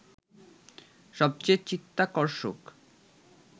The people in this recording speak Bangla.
সবচেয়ে চিত্তাকর্ষক